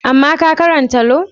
Amma ka karanta Lau?